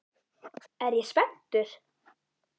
Er ég spenntur?